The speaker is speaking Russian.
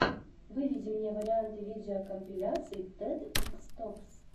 выведи мне варианты видеокомпиляций тед икс токс